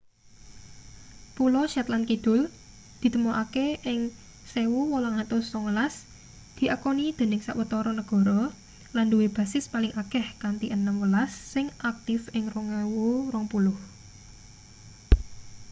pulo shetland kidul ditemokake ing 1819 diakoni dening sawetara negara lan duwe basis paling akeh kanthi enem welas sing aktif ing 2020